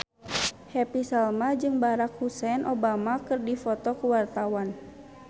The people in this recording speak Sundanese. Happy Salma jeung Barack Hussein Obama keur dipoto ku wartawan